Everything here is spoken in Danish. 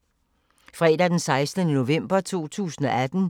Fredag d. 16. november 2018